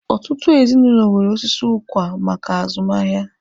Ọtụtụ ezinụlọ nwere osisi ụkwa maka azụmahịa.